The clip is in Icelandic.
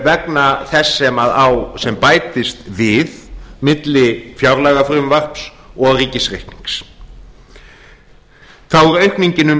vegna þess sem bætist við milli fjárlagafrumvarps og ríkisreiknings þá er aukningin um